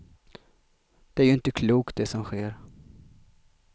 Det är ju inte klokt det som sker.